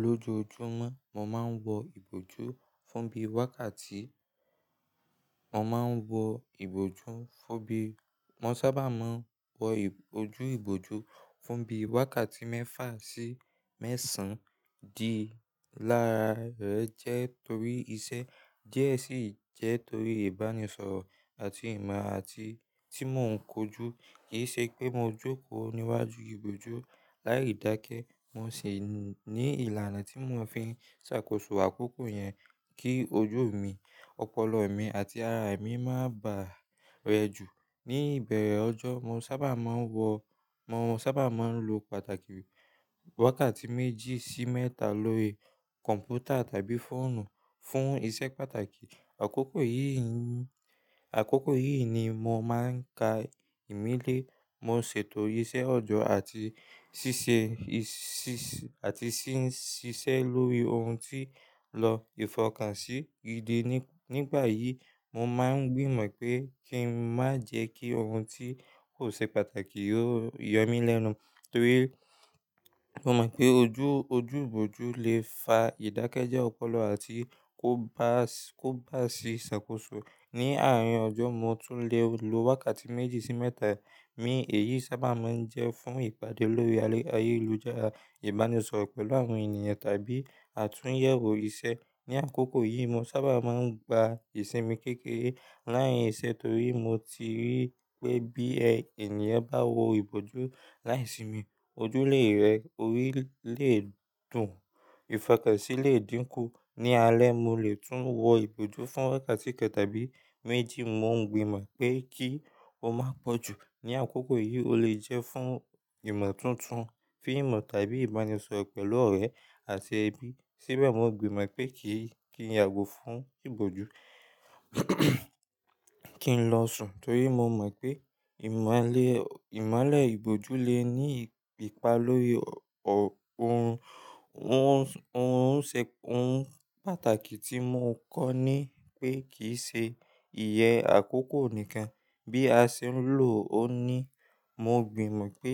Lójojúmọ́ mo máa ń wọ ìbòjú fún bíi wákàtí, mo máa ń wọ ìbòjú fún bíi, mo sábà máa ń wọ ojú ìbòjú fún bíi wákàtí mẹ́fà sí mẹ́sàn-án di lára rẹ̀ jẹ́ torí iṣẹ́ díẹ̀ sì jẹ́ torí ìbánisọ̀rọ̀ àti ìmọ̀ àti tí mò ń kojú. Kì í ṣe pé mo jókòó níwájú ìbòjú láì dáké. Mo sì ní ìlànà tí mò fi ń ṣàkóso àkókò yẹn kí ojú mi, ọpọlọ mi àti ara mi má bà á rẹ jù. Ni ìbẹ̀rẹ̀ ọjọ́ mo sábà máa ń wọ, mo sábà máa ń lo pàtàkì wákàtí méjì sí mẹ́ta lórí kọ̀npútà tàbí fóònù fún iṣẹ́ pàtàkì. Àkókò yìí ni, àkókò yìí ni mo máa ń ka ìmílẹ̀, mo ṣètò iṣẹ́ ọjọ́ àti ṣíṣe, ṣíṣe àti ṣín ṣiṣẹ́ lórí ohun tí lọ ìfọkànsí gidi. Nígbà yìí mo máa ń gbìmọ̀ pé kí n má jẹ́ kí ohun tí kò ṣe pàtàkì ó yọ mí lẹ́nu. Torí mo mọ̀ pé ojú, ojú ìbòjú lè fa ìdákẹ́jẹ ọpọlọ àti kó bá, kó bá sì ṣàkóso. Ni àárín ọjọ́ mo tún lè lo wákàtí méjì sí mẹ́ta, èyí sábà máa ń jẹ́ fún ìpàdé lórí ayélujára, ìbánisọ̀rọ̀ pẹ̀lú àwọn ènìyàn tàbí àtúnyẹ̀wò iṣẹ́. Ni àkókò yìí mo sábà máa ń gba ìsinmi kékeré láàárín iṣẹ́ torí mo ti rí pé bí ènìyàn bá wọ ìbòjú láìsinmi ojú lè rẹ, orí lè dùn, ìfọkànsí lè dínkú. Ni alẹ́ mo lè tún wọ ìbòjú fún wákàtí kan tàbí méjì. Mo ń gbìmọ̀ pé kí ó má pọ̀ jù. Ni àkókò yìí ó lè jẹ́ fún ìmọ̀ tuntun, fíìmù tàbí ìbánisọ̀rọ̀ pẹ̀lú ọ̀rẹ́ àti ẹbí. Síbẹ̀ mo gbìmọ̀ pé kí, kí n yàgò fún ìbòjú, kí n lọ sùn torí mo mọ̀ pé ìmọlẹ̀, ìmọlẹ̀ ìbòjú lè ní ipa lórí ohun, ohun ṣe, ohun pàtàkì tí mò ń kọ́ ni pé kì í se ìyẹ́ àkókò nìkan. Bí a ṣe ń lò ó ní, mo gbìmọ̀ pé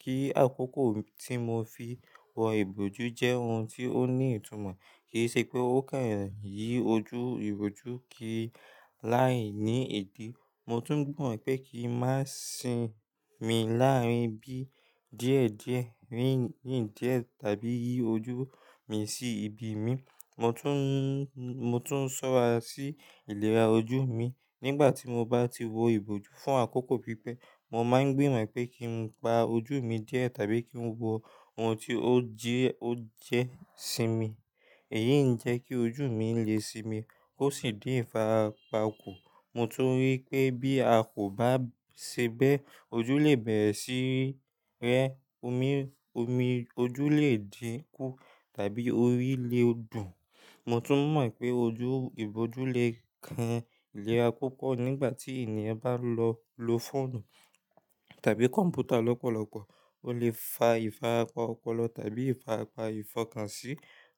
kí àkókò tí mo fi wọ ìbòjú jẹ́ ohun tí ó ní ìtumọ̀. Kì í ṣe pé ó kàn yí ojú ìbòjú kí láì ní èdè. Mo tún mọ̀ pé kí n má sin mi láàárín bí díẹ̀ díẹ̀, ríìn ríìn díẹ̀ tàbí yí ojú mi sí ibi mi. Mo tún, mo tún ṣọ́ra sí ìlera ojú mi. Nígbà tí mo bá ti wọ ìbòjú fún àkókò pípẹ́, mo máa ń gbìmọ̀ pé kí n pa ojú mi díẹ̀ tàbí kí n wọ ohun tí ó jí, ó jẹ́ sinmi. Èyí ń jẹ́ kí ojú mi lè sinmi kó sì dín ìfara pa kù. Mo tún rí pé bí a kò bá ṣẹbẹ́ ojú lè bẹ̀rẹ̀ sí rẹ, omi ojú lè dínkú tàbí orí lè dùn. Mo tún mọ̀ ipé ojú ìbòjú lè kan ìlera púpọ̀ nígbà tí ènìyàn bá lọ lo fóònù tàbí kọ̀mpútà lọ́pọ̀lọ́pọ̀. Ó lè fa ìfarapa ọpọlọ tàbí ìfarapa ìfọkànsí.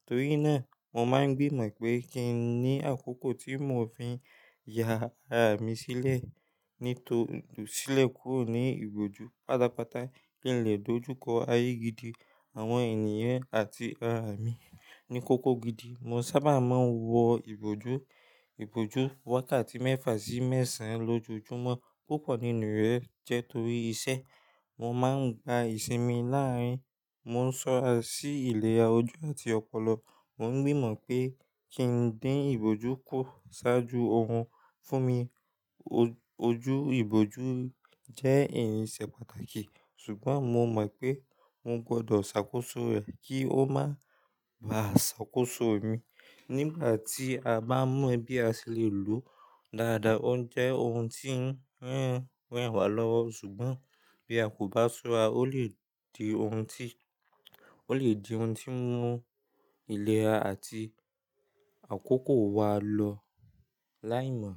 Torí náà mo máa ń gbìmọ̀ ipé kí n ní àkókò tí mò fi ń ya ara mi sílẹ̀, ní to, tò sílẹ̀ kúrò ní ìbòjú. Patàpàtà kí ń lè dojú kọ ayé gidi, àwọn ènìyàn àti ara mi ní kókó gidi. Mo sábà máa ń wọ ìbòjú, ìbòjú wákàtí mẹ́fà sí mẹ́sàn-án lójojúmọ́ púpọ̀ nínú rẹ̀ jẹ́ torí iṣẹ́. Mo máa ń gba ìsinmi láàrín, mo ń ṣọ́ra sí ìlera ojú àti ọpọlọ. Mo ń gbìmọ̀ pé kí ń dín ìbòjú kúrò ṣáájú ohun. Fún mi ojú ìbòjú jẹ́ ẹ̀yin ìṣe pàtàkì. Ṣùgbọ́n mo mọ̀ ipé mo gbọdọ̀ ṣàkóso rẹ̀ kí ó má bà á ṣàkóso mi. Nígbà tí a bá mọ̀ bí a ṣe lè lòó dáadáa ó ń jẹ́ ohun tí ń rẹ́n wá lọ́wọ́. Ṣùgbọ́n bí a kò bá ṣọ́ra ó lè di ohun tí, ó lè di ohun tí ń mú ìlera àti àkókò wa lọ láìmọ̀.